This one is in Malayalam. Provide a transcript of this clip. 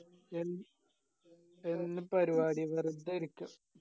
എന്ന് പരിപാടി വെർതെ ഇരിക്ക